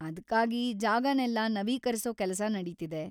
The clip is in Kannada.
ಅದ್ಕಾಗಿ ಜಾಗನೆಲ್ಲ ನವೀಕರಿಸೋ ಕೆಲಸ ನಡೀತಿದೆ.